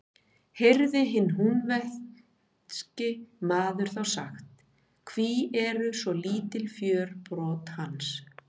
Heyrði hinn húnvetnski maður þá sagt: Hví eru svo lítil fjörbrot hans?